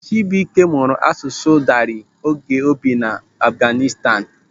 Chibuike mụrụ asụsụ Dari oge o bi n'Afghanistan.